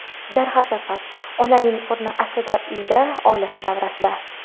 Darhaqiqat, onaning o‘rni aslida uyda, oilasi davrasida.